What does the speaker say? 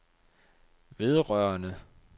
vedrørende